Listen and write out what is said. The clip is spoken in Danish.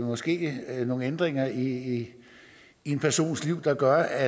måske er nogle ændringer i en persons liv der gør